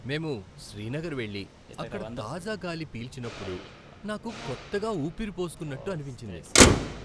మేము శ్రీనగర్ వెళ్ళి అక్కడ తాజా గాలి పీల్చినప్పుడు నాకు కొత్తగా ఊపిరి పోసుకున్నట్టు అనిపించింది.